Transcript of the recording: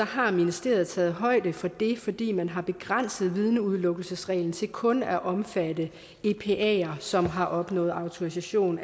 har ministeriet taget højde for det fordi man har begrænset vidneudelukkelsesreglen til kun at omfatte epaere som har opnået autorisation